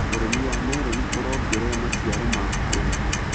ũrĩmi wa meroni ũrongerera maciaro ma arĩmi.